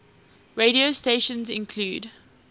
radio stations include